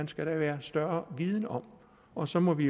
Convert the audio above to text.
skal være større viden om og så må vi